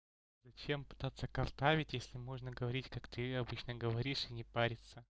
зачем пытаться картавить если можно говорить как ты обычно говоришь и не париться